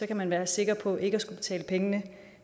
kan man være sikker på ikke at skulle betale pengene